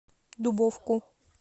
дубовку